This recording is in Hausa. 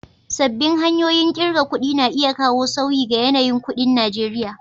Sabbin hanyoyin ƙirga kuɗi na iya kawo sauyi ga yanayin kuɗin Najeriya.